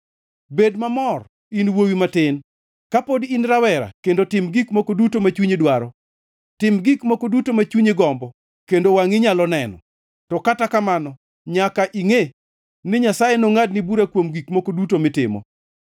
Bed mamor, in wuowi matin, ka pod in rawera kendo tim gik moko duto ma chunyi dwaro. Tim gik moko duto ma chunyi gombo kendo wangʼi nyalo neno, to kata kamano nyaka ingʼe ni Nyasaye nongʼadni bura kuom gik moko duto mitimo.